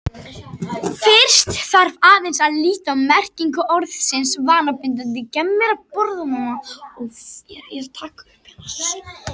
Fyrst þarf aðeins að líta á merkingu orðsins vanabindandi.